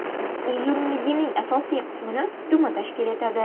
Uzunligining asosiy qismini dumi tashkil etadi.